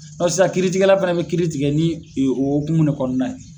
Sisan kiiritigɛla fana bɛ kiiri tigɛ ni hokumu de kɔnɔna ye.